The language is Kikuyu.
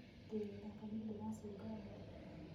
Ndĩ gĩthakainĩ ndĩracunga mbũri